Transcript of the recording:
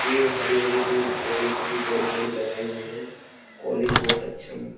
पेड़ हरे-हरे पेड़ पौधे काफी बड़े बड़े लगाए हुए हैं। कॉलेज बहुत अच्छा म --